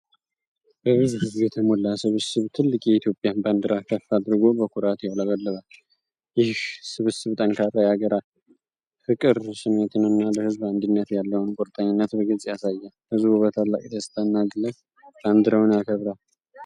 በብዙ ሕዝብ የተሞላ ስብስብ ትልቅ የኢትዮጵያን ባንዲራ ከፍ አድርጎ በኩራት ያውለበልባል። ይህ ስብስብ ጠንካራ የአገር ፍቅር ስሜትንና ለሕዝብ አንድነት ያለውን ቁርጠኝነት በግልጽ ያሳያል። ሕዝቡ በታላቅ ደስታና ግለት ባንዲራውን ያከብራል።